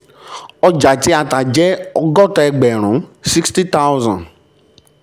ọjà tí a tà jẹ́ ọgọ́ta ẹgbẹ̀rún sixty thousand